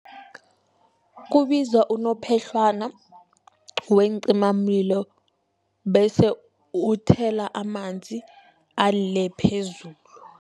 Kubizwa unophehlwana weencimamlilo bese uthela amanzi ale phezulu.